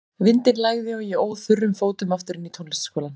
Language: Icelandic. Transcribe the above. Vindinn lægði og ég óð þurrum fótum aftur inn í tónlistarskólann.